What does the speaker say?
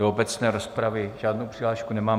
Do obecné rozpravy žádnou přihlášku nemám.